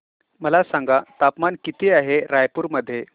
मला सांगा तापमान किती आहे रायपूर मध्ये